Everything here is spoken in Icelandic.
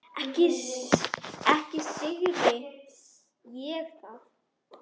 Ekki syrgi ég það.